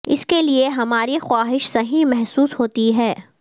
اس کے لئے ہماری خواہش صحیح محسوس ہوتی ہے